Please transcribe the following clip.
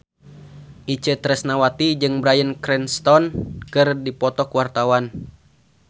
Itje Tresnawati jeung Bryan Cranston keur dipoto ku wartawan